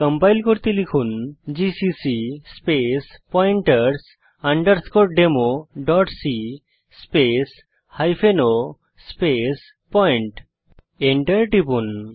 compile করতে লিখুন GCC space pointers underscore demo dot c space hyphen o space point Enter টিপুন